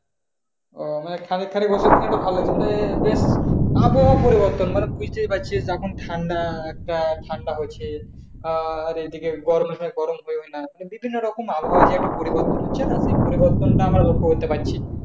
ও মানে খানিক খানিক ওষুধ খেলে ভালোলাগছে না এদের আবহাওয়া পরিবর্তন মানে বুঝতেই পারছেন এখন ঠান্ডা একটা ঠান্ডা হচ্ছে আহ আর এই দিকে গরমের সময় গরম পড়বে না। বিভিন্ন রকম আবহাওয়া যে একটা পরিবর্তন হচ্ছে না? যে পরিবর্তন আমরা লক্ষ্য করতে পারছি।